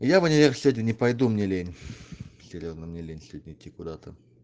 я в универ сегодня не пойду мне лень серьёзно мне лень сегодня идти куда то